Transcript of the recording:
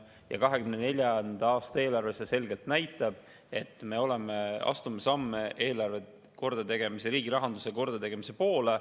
2024. aasta eelarve selgelt näitab, et me astume samme eelarve kordategemise, riigi rahanduse kordategemise poole.